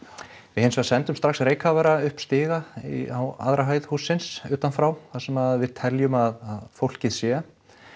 við hins vegar sendum strax reykkafara upp stiga á aðra hæð hússins utan frá þar sem við teljum að fólkið sé